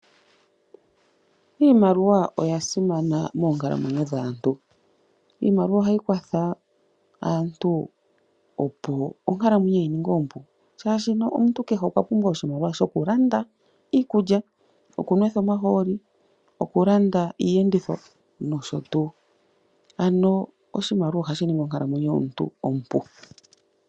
Iimaliwa oya simana moonkalamwenyo dhaantu. Iimaliwa ohayi kwatha aantu opo onkalamwenyo ye yi ninge ompu shashino omuntu kehe okwa pumbwa oshimaliwa shoku landa iikulya, oku nwetha omahooli, oku landa iiyenditho noshotuu. Ano oshimaliwa ohashi ningi onkalamwenyo yomuntu ompu.